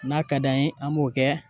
N'a ka d'an ye, an b'o kɛ